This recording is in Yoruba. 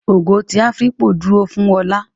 Ogo ti afipo dúró fún olá